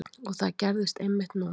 Og það gerðist einmitt núna.